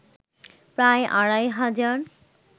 প্রায় আড়াই হাজার